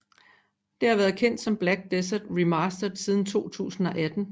Det har været kendt som Black Desert Remastered siden 2018